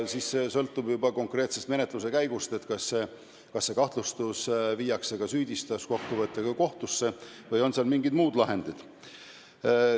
Siis sõltub juba konkreetsest menetluse käigust, kas kahtlustus viiakse süüdistuskokkuvõttega kohtusse või on mingid muud lahendid.